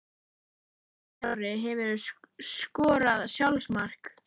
Einar Orri Hefurðu skorað sjálfsmark?